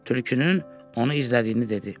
Tülkünün onu izlədiyini dedi.